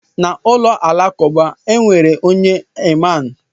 Na ụlọ alakụba, e nwere onye imam.